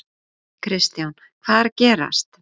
Kristján: Hvað er að gerast?